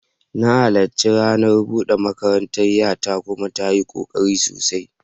Na halarci ranar bude makarantar 'yata kuma ta yi kokari sosai.